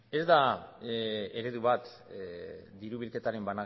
ez da eredu bat diru bilketaren